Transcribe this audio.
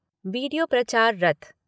video प्रचार रथ